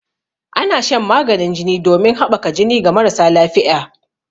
Ana shan maganin jini ɗomin haɓaka jini ga marasa lafiƴa.